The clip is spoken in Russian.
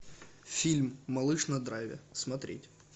фильм малыш на драйве смотреть